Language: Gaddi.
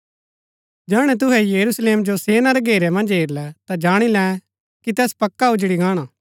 जैहणै तुहै यरूशलेम जो सेना रै घेरै मन्ज हेरलै ता जाणी लै कि तैस पक्का उजड़ी गाणा